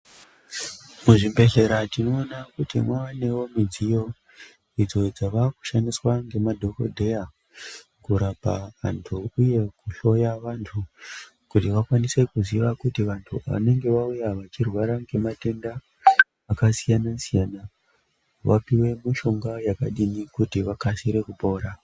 Muzvibhedhlera tinoda kuti muwanewo midziyo idzo dzava kushandiswa namadhokodheya kurapa vantu uye kuhloya vantu kuti vakwanise kuziva kuti vantu vanenge vauya vachirwara ngematenda akasiyana-siyana vapiwe mishonga yakadii kuti vakasire kupora.